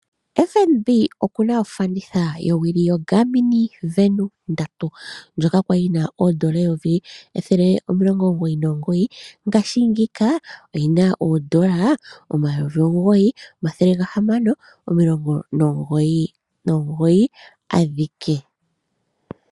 FNB okuna ofanditha yo wili yo Garmin Vanu 3 ndjoka kwali yina oodola omayovi omilongo omathele omilongo omugoyi nomugoyi ngaashingeyi oyi na oodola omayovi omugoyi omathele gahamano nomilongo omugoyi nomugoyi adhike.